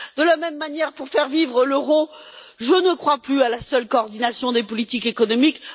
De la même manière, pour faire vivre l'euro, je ne crois plus à la seule coordination des politiques économiques.